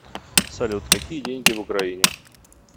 салют какие деньги в украине